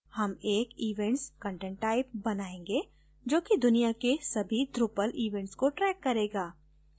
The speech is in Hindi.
हम एक events content type बनायेंगे जो कि दुनिया के सभी drupal events को tracks करेगा